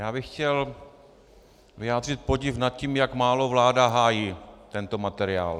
Já bych chtěl vyjádřit podiv nad tím, jak málo vláda hájí tento materiál.